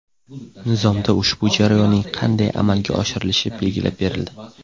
Nizomda ushbu jarayonning qanday amalga oshirilishi belgilab berildi.